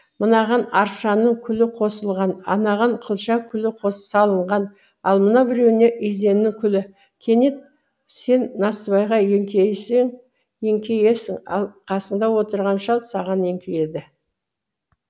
мынаған аршаның күлі қосылған анаған қылша күлі салынған ал мынау біреуіне изеннің күлі кенет сен насыбайға еңкейесің ал қасыңда отырған шал саған еңкейеді